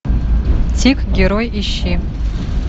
тик герой ищи